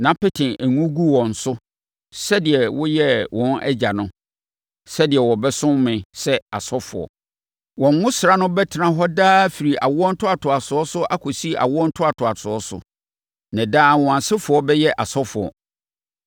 na pete ngo gu wɔn so sɛdeɛ woyɛɛ wɔn agya no, sɛdeɛ wɔbɛsom me sɛ asɔfoɔ. Wɔn ngosra no bɛtena hɔ daa firi awo ntoatoasoɔ so akɔsi awo ntoatoasoɔ so. Na daa wɔn asefoɔ bɛyɛ asɔfoɔ.”